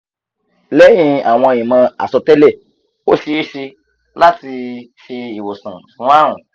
lehin awon imo asotele o sese lati se iwosan fun arun